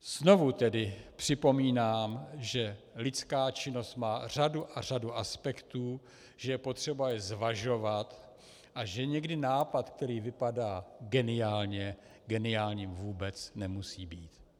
Znovu tedy připomínám, že lidská činnost má řadu a řadu aspektů, že je potřeba je zvažovat a že někdy nápad, který vypadá geniálně, geniálním vůbec nemusí být.